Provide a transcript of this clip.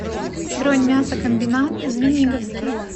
бронь мясокомбинат звениговский